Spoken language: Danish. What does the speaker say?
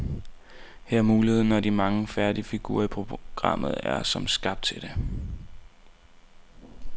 Her er muligheden, og de mange færdige figurer i programmet er som skabt til det.